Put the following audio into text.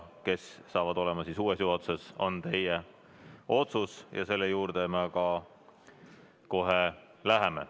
Kes saavad olema uues juhatuses, on teie otsus, ja selle juurde me ka kohe läheme.